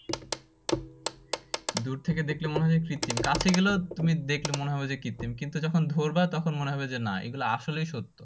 দূর থেকে দেখলে মনে হয় কৃতিম কাছে গেলেও তুমি দেখলে মনে হবে যে কৃতিম কিন্তু যখন ধরবা তখন মনে হবে যে না এই গুলা আসলেই সত্য